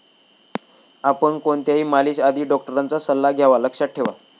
आपण कोणत्याही मालिश आधी डॉक्टरांचा सल्ला घ्यावा लक्षात ठेवा.